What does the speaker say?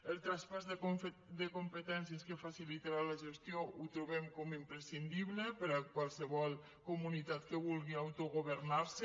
el traspàs de competències que facilitarà la gestió ho trobem com a imprescindible per a qualsevol comu·nitat que vulgui autogovernar·se